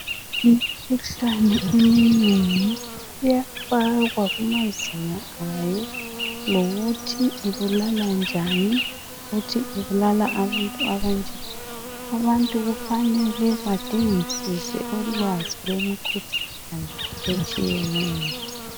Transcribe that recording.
Imikhuhlane eminengi iyafakwa kumazinga ayo lokuthi ibulala njani lokuthi ibulala abantu abanjani abantu kufanele badingisise ulwazi lwemikhuhlane etshiyeneyo.